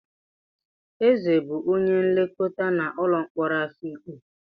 Eze bụ onye nlekọta n'ụlọ mkpọrọ Afikpo.